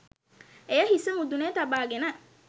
එය හිසි මුදුනේ තබා ගෙන